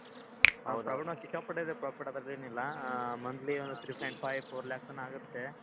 profit ಸಿಕ್ಕಾಪಟ್ಟೆ ಇದೆ ಅದ್ರಲ್ಲೆನಿಲ್ಲ ಅಹ್ monthly ಒಂದ್ three point five four lakh ತನ ಆಗತ್ತೆ.